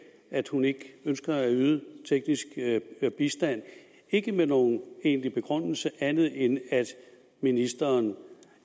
at hun ikke ønskede at yde teknisk bistand ikke med nogen egentlig begrundelse andet end at ministeren